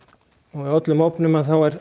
á öllum ofnum